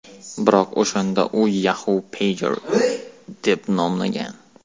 Biroq o‘shanda u Yahoo Pager deb nomlangan.